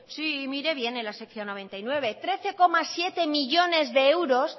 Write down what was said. sí mire bien en la sección noventa y nueve trece coma siete millónes de euros